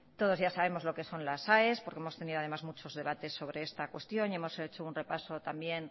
todos ya sabemos lo que son las aes porque hemos tenido además muchos debates sobre esta cuestión y hemos hecho un repaso también